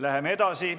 Läheme edasi.